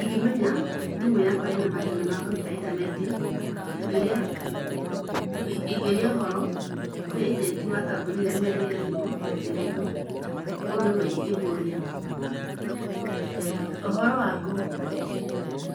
Ingĩmenya thimũ yakwa ĩna mathĩna makũnyita intaneti, ingĩũria, ingĩũria ũhoro, kwĩ agent wa kambuni ĩrĩa yanyendeirie thimũ, na njĩra ĩno, ũũ nĩguo ingĩmũria. Ũhoro waku?